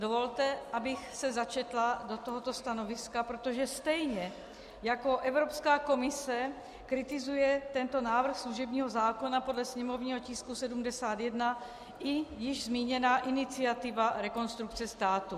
Dovolte, abych se začetla do tohoto stanoviska, protože stejně jako Evropská komise kritizuje tento návrh služebního zákona podle sněmovního tisku 71 i již zmíněná iniciativa Rekonstrukce státu.